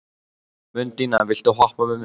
Mundína, viltu hoppa með mér?